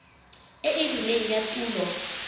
e e rileng ya tulo